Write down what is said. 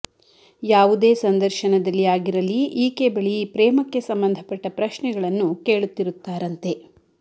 ಯಾವುದೇ ಸಂದರ್ಶನದಲ್ಲಿ ಆಗಿರಲಿ ಈಕೆ ಬಳಿ ಪ್ರೇಮಕ್ಕೆ ಸಂಬಂಧಪಟ್ಟ ಪ್ರಶ್ನೆಗಳನ್ನು ಕೇಳುತ್ತಿರುತ್ತಾರಂತೆ